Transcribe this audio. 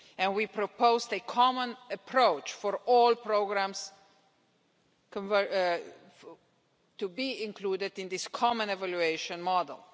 We proposed a common approach for all programmes to be included in this common evaluation model.